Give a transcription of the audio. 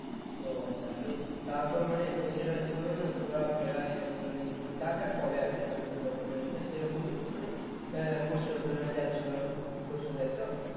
ও আচ্ছা নিয়ে তারপর মানে ওই ছেলেটার সঙ্গে না ঘোড়া ফেরা এই মানে যা যা করে আরকি girlfriend boyfriend এর মধ্যে সেরকমই মানে আহ করছিলো দুজনে যাচ্ছিলো করছিলো তাই তো?